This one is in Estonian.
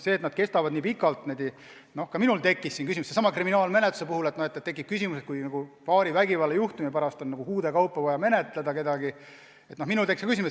See, et nad kestavad nii pikalt – noh ka minul on selle kriminaalmenetluse puhul tekkinud küsimus, kuidas ikkagi nagu paari vägivallajuhtumi pärast on vaja kuude kaupa midagi menetleda.